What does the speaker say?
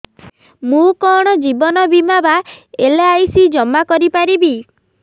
ମୁ କଣ ଜୀବନ ବୀମା ବା ଏଲ୍.ଆଇ.ସି ଜମା କରି ପାରିବି